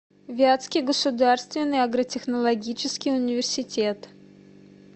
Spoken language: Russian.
вятский государственный агротехнологический университет